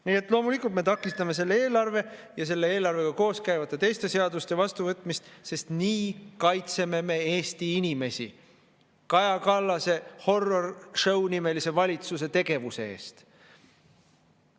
Nii et loomulikult me takistame selle eelarve ja selle eelarvega koos käivate teiste seaduste vastuvõtmist, sest nii kaitseme me Eesti inimesi Kaja Kallase horror show nimelise valitsuse tegevuse eest.